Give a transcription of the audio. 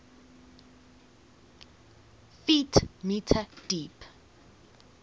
ft m deep